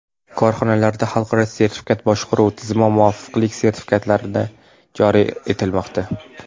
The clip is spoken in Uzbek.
Korxonalarda xalqaro sifat boshqaruv tizimi muvofiqlik sertifikatlari joriy etilmoqda.